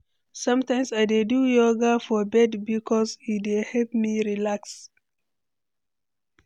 Sometimes I dey do yoga for bed bikos e dey help me relax.